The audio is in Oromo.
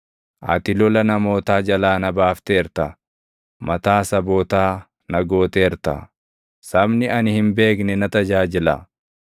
Ati lola namootaa jalaa na baafteerta; mataa sabootaa na gooteerta; sabni ani hin beekne na tajaajila.